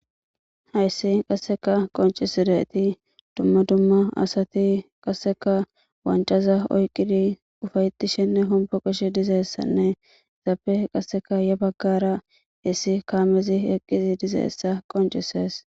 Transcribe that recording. Haysi qoncisidaysi duma duma asati qasekka, wanccaza oqidi ufaytishenne homboqishe dizaysanne etappe yabagara issi kamezi wqizi dizaysa qonccises